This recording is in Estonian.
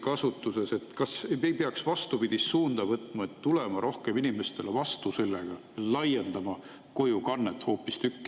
Kas me ei peaks vastupidist suunda võtma, tulema rohkem inimestele vastu ja hoopistükkis laiendama kojukannet?